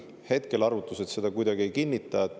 Hetkel arvutused seda kuidagi ei kinnita.